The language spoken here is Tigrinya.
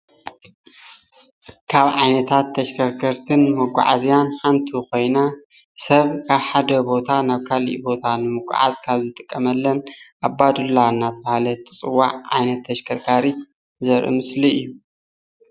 ካብ ዓይነታት ተሽከርከርትን መጓዓዝያን ሓንቲ ኮይና ሰብ ካብ ሓደ ቦታ ናብ ካሊእ ቦታ ንምጓዓዝ ካብ ዝጥቀመለን ኣባዱላ እናተባሃለት እትፅዋዕ ዓይነት ተሽከርከሪት ዘርኢ ምስሊ እዩ፡፡